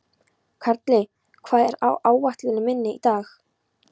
Karli, hvað er á áætluninni minni í dag?